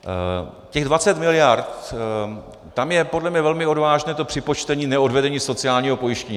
Těch 20 mld., tam je podle mě velmi odvážné to připočtení neodvedení sociálního pojištění.